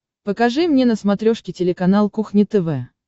покажи мне на смотрешке телеканал кухня тв